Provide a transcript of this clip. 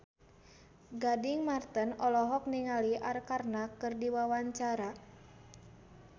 Gading Marten olohok ningali Arkarna keur diwawancara